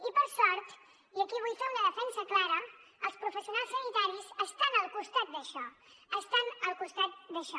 i per sort i aquí vull fer una defensa clara els professionals sanitaris estan al costat d’això estan al costat d’això